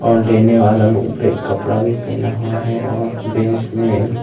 और लेने वाला लोग ब्लैक कपड़ा भी पहना हुआ है और बेंच में--